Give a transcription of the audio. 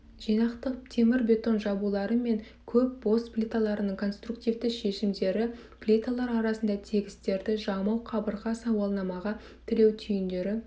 жинақтық темірбетон жабулары мен көп бос плиталарының конструктивті шешімдері плиталар арасында тігістерді жамау қабырға сауалнамаға тіреу түйіндері